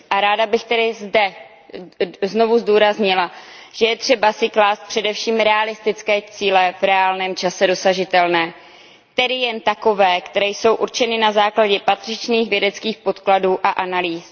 Ráda bych tedy zde znovu zdůraznila, že je třeba si klást především realistické cíle v reálném čase dosažitelné, tedy jen takové, které jsou určeny na základě patřičných vědeckých podkladů a analýz.